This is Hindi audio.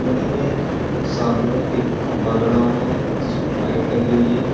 नदी में एक सामने एक खंभा गड़ा हुआ है जिस पर लाइट लगी हुई है।